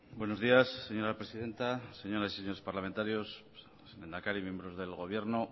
buenos días señora presidenta señoras y señores parlamentarios lehendakari miembros del gobierno